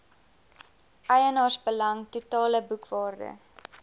eienaarsbelang totale boekwaarde